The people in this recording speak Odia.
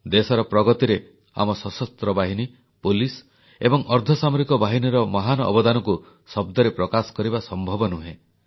ଦେଶର ପ୍ରଗତିରେ ଆମ ସଶସ୍ତ୍ର ବାହିନୀ ପୁଲିସ ଏବଂ ଅର୍ଦ୍ଧସାମରିକ ବାହିନୀର ମହାନ ଅବଦାନକୁ ଶବ୍ଦରେ ପ୍ରକାଶ କରିବା ସମ୍ଭବ ନୁହେଁ